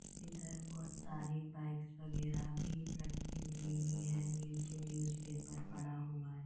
इधर बहुत सारी बाईकस्स वगैरह भी रखी हुई है नीचे न्यूज पेपर पड़ा हुआ है।